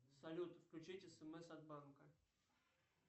салют включить смс от банка